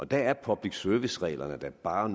der er public service reglerne da bare